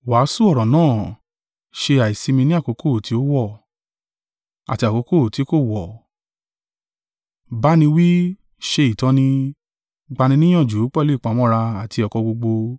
Wàásù ọ̀rọ̀ náà, ṣe àìsimi ní àkókò tí ó wọ̀, àti àkókò ti kò wọ̀; bá ni wí, ṣe ìtọ́ni, gbani níyànjú pẹ̀lú ìpamọ́ra àti ẹ̀kọ́ gbogbo.